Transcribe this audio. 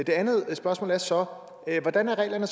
andet spørgsmål er så hvordan er reglerne